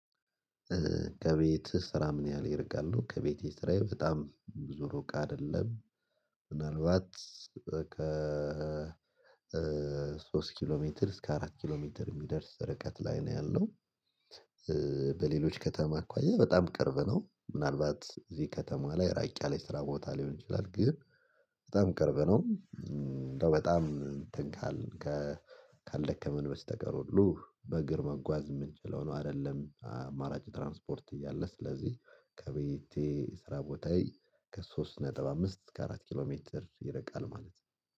ከቤት ስራ ምን ያህል ይርቃል ነው? ከቤቴ ስራዬ በጣም ብዙ ሩቅ አይደለም። ምናልባት ከ ሶስት ኪሎ ሜትር እስከ አራት ኪሎ ሜትር የሚደርስ ርቀት ላይ ነው ያለው። በሌሎች ከተማ አኳያ በጣም ቅርብ ነው ምናልባት እዚህ ከተማ ላይ ራቅ ያለ የስራ ቦታ ሊሆን ይችላል። ግን በጣም ቅርብ ነው። በጣም እንትን ካል ካልደከምን በስተቀር ሁሉ በእግር መጓዝ የምንችለው ነው። አይደለም አማራጭ ትራንስፖርት እያለ ስለዚህ ከቤቴ ስራ ቦታዬ ከሶስት ነጥብ አምስት ከአራት ኪሎ ሜትር ይርቃል ማለት ነው።